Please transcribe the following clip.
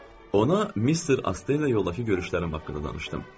Ona Mister Astenlə yoldakı görüşlərim haqqında danışdım.